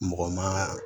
Mɔgɔ ma